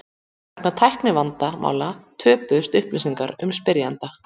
Vegna tæknivandamála töpuðust upplýsingar um spyrjanda.